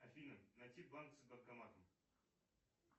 афина найти банк с банкоматом